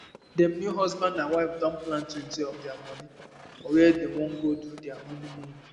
dem new husband and wife don plantwentyof dia money for where dey wan go do dia honeymoon